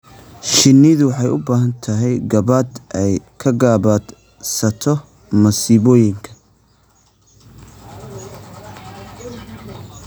Shinnidu waxay u baahan tahay gabaad ay ka gabaadsato masiibooyinka.